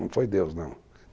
Não foi Deus, não.